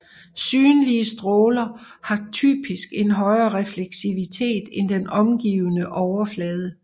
Synlige stråler har typisk en højere refleksivitet end den omgivende overflade